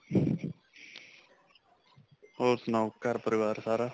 ਹੋਰ ਸੁਣਾਓ, ਘਰ ਪਰਿਵਾਰ ਸਾਰਾ.